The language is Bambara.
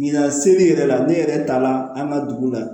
Ɲina seli yɛrɛ la ne yɛrɛ taara an ka dugu la